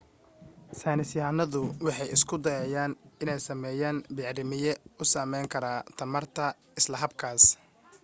saynis yahanadu waxay isku dayayaan inay sameeyaan bacrimiye u samayn kara tamarta isla habkaas